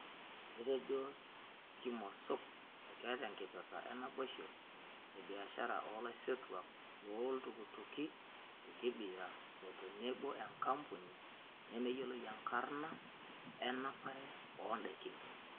Etejo Kimosop ekeeta enkipirta enaboisho ebiashara olaisotuak loo iltukituki le Kibera o tenebo enkampuni nemeyioloi enkarna enapare oo daikin.